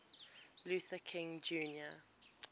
luther king jr